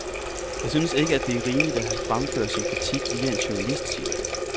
Jeg synes ikke, det er rimeligt, at han fremfører sin kritik via en journalist, siger han.